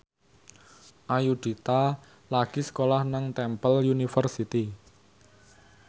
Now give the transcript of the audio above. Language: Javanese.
Ayudhita lagi sekolah nang Temple University